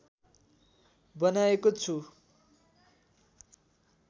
बनाएको छु